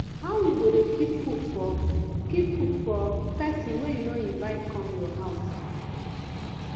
how you go dey keep food for keep food for pesin wey you no invite come your house